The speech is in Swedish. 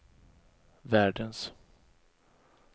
världens